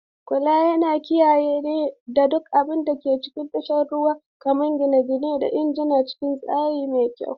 Kulawa yana kiyaye duk abin da ke cikin tashar jiragen ruwa, kamar gine-gine da injuna, cikin tsari mai kyau.